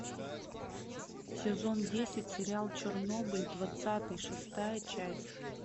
сезон десять сериал чернобыль двадцатый шестая часть